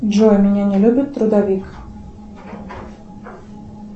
джой меня не любит трудовик